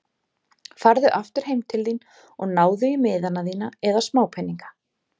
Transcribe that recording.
Farðu aftur heim til þín og náðu í miðana þína eða smápeninga.